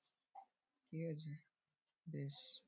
কি আছে বেশ |